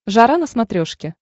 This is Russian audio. жара на смотрешке